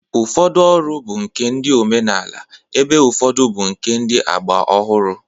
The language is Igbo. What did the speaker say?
Ụfọdụ ọrụ bụ nke ndị omenala ebe ụfọdụ bụ nke ndị agba ọhụrụ